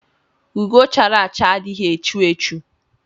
Ugo chara acha adighi echu echu.